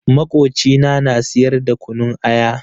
Makocina na siyar da kunun aya.